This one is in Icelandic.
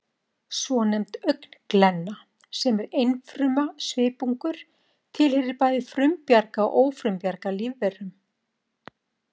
Svonefnd augnglenna, sem er einfruma svipungur, tilheyrir bæði frumbjarga og ófrumbjarga lífverum